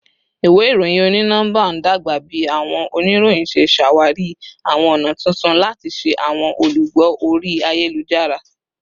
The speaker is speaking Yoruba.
Iwe iroyin oni-nọmba n dagba bi awọn oniroyin ṣe ṣawari awọn ọna tuntun lati ṣe awọn olugbo ori ayelujara